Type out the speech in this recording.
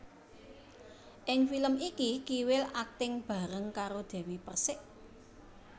Ing film iki Kiwil akting bareng karo Dewi Perssik